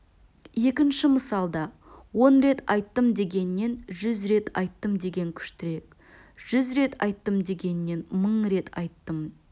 екінші мысалда он рет айттым дегеннен жүз рет айттым деген күштірек жүз рет айттым дегеннен мың рет айттым